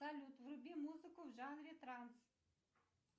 салют вруби музыку в жанре транс